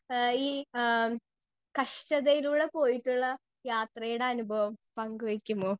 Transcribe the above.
speaker 2 എഹ് ഈ ആ കഷ്ട്ടതയിലൂടെ പോയിട്ടുള്ള യാത്രെയുടെ അനുഭവം പങ്ക് വെക്കുമോ